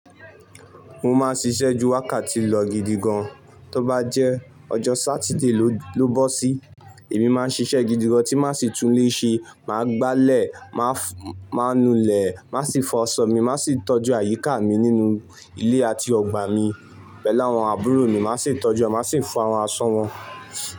Mo máa ń ṣiṣẹ́ ju wákàtí lọ gidi gan. Tó bá jẹ́ ọjọ́ Sátidé ló bó sí, èmi máa ń ṣiṣẹ́ gidi gan tí máa sì tún lé ṣe, màá gbálẹ̀, máa nulè, màá sì fọ aṣọ mi, màá sì tọ́jú àyíká mi nínú ilé àti ọgbà mi. Pẹ̀lú àwọn àbúrò mi, màá sì ń tọ́jú wọn, màá sì ń fọ àwọn aṣọ wọn.